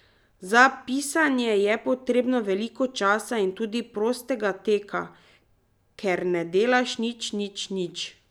Za pisanje je potrebno veliko časa in tudi prostega teka, kjer ne delaš nič, nič, nič.